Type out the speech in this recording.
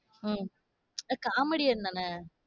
உம் comedian தான?